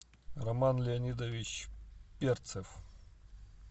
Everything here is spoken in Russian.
роман леонидович перцев